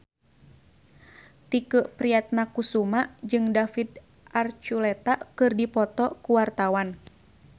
Tike Priatnakusuma jeung David Archuletta keur dipoto ku wartawan